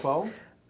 Qual?